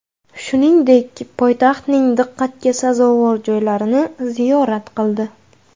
Shuningdek, poytaxtning diqqatga sazovor joylarini ziyorat qildi.